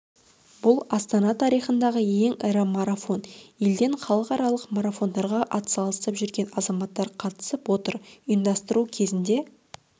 бұл астана тарихындағы ең ірі марафон елден халықаралық марафондарға атсалысып жүрген азаматтар қатысып отыр ұйымдастыру кезінде